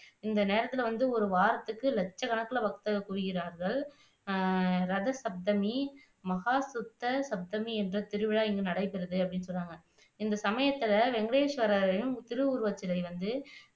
இந்த நேரத்துல வந்து ஒரு வாரத்துக்கு லட்சக்கணக்குல பக்தர்கள் குவிகிறார்கள் அஹ் ரத சப்தமி, மகா சுத்த சப்தமி என்ற திருவிழா இங்கு நடைபெறுது அப்படின்னு சொல்றாங்க இந்த சமயத்துல வேங்கடேஸ்வரரின் திருவுருவச்சிலை வந்து